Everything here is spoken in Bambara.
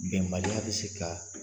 Bɛnbaliya bɛ se ka